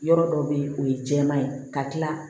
Yɔrɔ dɔ bɛ yen o ye jɛman ye ka tila